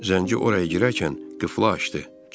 Zənci oraya girərkən qıfla açdı.